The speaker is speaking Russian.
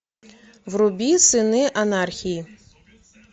вруби сыны анархии